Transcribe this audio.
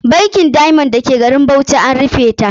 Bankin Diamond da ke garin Bauchi a rufe ta ke.